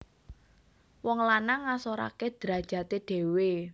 Wong lanang ngasorake drajate dhewe